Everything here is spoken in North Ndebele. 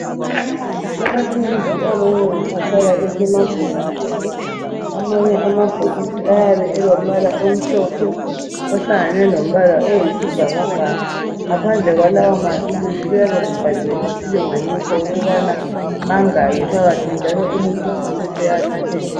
Amaphilisi amanengi ahlala esemabhokisini amanye amabhokisi ayabe elombala omhlophe ohlangane lombala oyisibhakabhaka ngaphandle kwalawa maphilisi kuyabe kubhaliwe isilinganiso ukubana mangaki phakathi njalo umuntu kufuze anathe njani